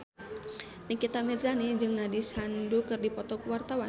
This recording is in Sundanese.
Nikita Mirzani jeung Nandish Sandhu keur dipoto ku wartawan